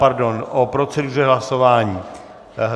Pardon, o proceduře hlasování.